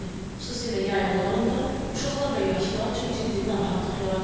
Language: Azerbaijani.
Xüsusilə yay aylarında uşaqlar və yaşlılar üçün ciddi narahatlıq yaradır.